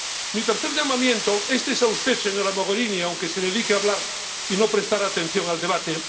Mi tercer llamamiento es a usted, señora Mogherini, aunque se dedique a hablar sin prestar atención al debate.